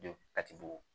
De kati bugun